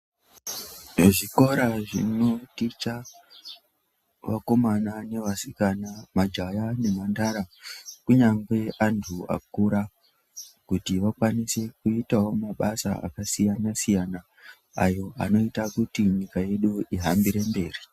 Ezvikora zvino ticha vakomana ne vasikana majaya ne mhandara kunyangwe antu akura kuti vakwanise kuitawo mabasa aka siyana siyana ayo anoita kuti nyika yedu ihambire mberi.